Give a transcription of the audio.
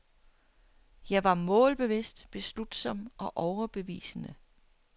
Jeg var målbevidst, beslutsom og overbevisende.